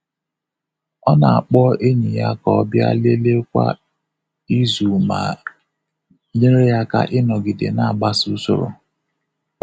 Ọ na-akpọ enyi ya ka ọ bịa lelee kwa izu ma nyere ya aka ịnọgide na-agbaso usoro.